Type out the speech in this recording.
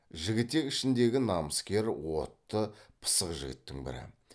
жігітек ішіндегі намыскер отты пысық жігіттің бірі